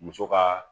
Muso ka